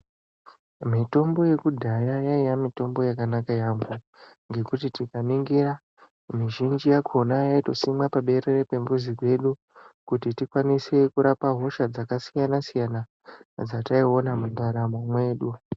Mitombo yekudhaya yaiva mitombo yakanaka yambo ngekuti tikaningira zhinji yakona yaisimwa paberere pemuzi dzedu kuti tikwanise hosha dzakasiyana siyana dzataiona mundaramo mwedu.